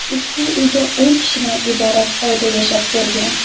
Ushbu uyda o‘n kishidan iborat oila yashab kelgan.